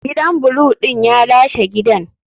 Gidan blue din ya lashe gidan.